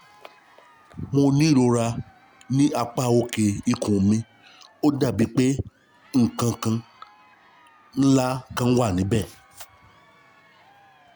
Mo ní ìrora ní apá òkè ikùn mi, ó dàbí pé nǹkan ńlá kan wà níbẹ̀